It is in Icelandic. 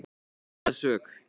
Þeir neita sök.